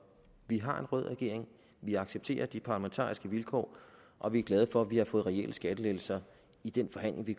vi har en rød regering vi accepterer de parlamentariske vilkår og vi er glade for at vi har fået reelle skattelettelser i den forhandling vi